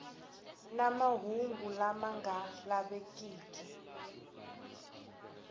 na mahungu lama nga lavekiki